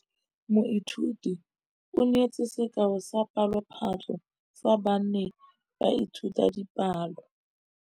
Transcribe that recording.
Moithuti o neetse sekaô sa palophatlo fa ba ne ba ithuta dipalo.